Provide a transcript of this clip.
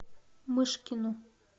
мышкину